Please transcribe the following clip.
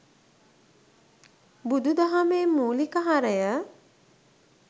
බුදු දහමේ මූලික හරය